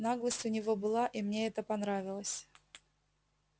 наглость у него была и мне это понравилось